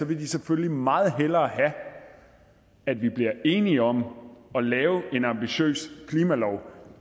vil de selvfølgelig meget hellere have at vi bliver enige om at lave en ambitiøs klimalov